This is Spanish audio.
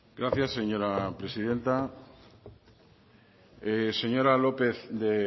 gracias señora presidenta señora lópez de